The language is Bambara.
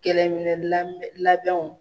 Kɛlɛminɛn labɛn labɛnw